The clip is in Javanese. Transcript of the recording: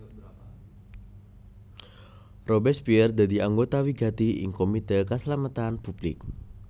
Robespierre dadi anggota wigati ing Komité Kaslametan Public